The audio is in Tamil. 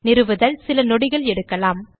நிறுவுதல் சில நொடிகள் எடுக்கலாம்